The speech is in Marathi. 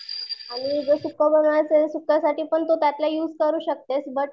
आणि जर सुक्क बनवणार अससेल तर सुक्क्या साठी पण तू त्यातला युज करू शकते.